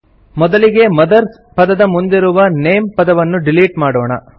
ಮೊದಲಿಗೆ ಮದರ್ಸ್ ಪದದ ಮುಂದಿರುವ ನೇಮ್ ಪದವನ್ನು ಡಿಲೀಟ್ ಮಾಡೋಣ